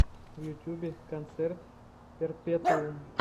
в ютьюбе концерт перпетуум